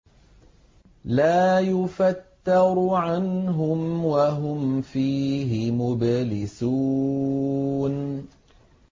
لَا يُفَتَّرُ عَنْهُمْ وَهُمْ فِيهِ مُبْلِسُونَ